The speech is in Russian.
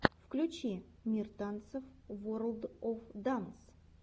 включи мир танцев ворлд оф данс